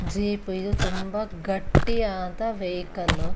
Jeep ಇದು ತುಂಬಾ ಗಟ್ಟಿ ಆದ ವೆಹಿಕಲ್ .